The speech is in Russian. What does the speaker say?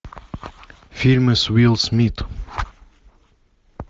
фильмы с уилл смит